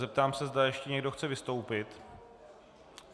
Zeptám se, zda ještě někdo chce vystoupit.